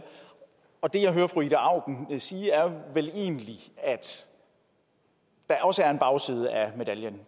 og det jeg hører fru ida auken sige er vel egentlig at der også er en bagside af medaljen